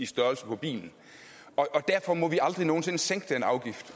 størrelsen på bilen og derfor må vi aldrig nogen sinde sænke den afgift